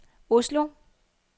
Oslo